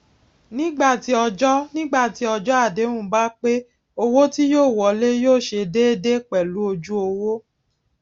nígbà tí ọjó nígbà tí ọjó àdéhùn bá pé owó tí yóò wọlé yóò ṣe déédé pèlú ojú owó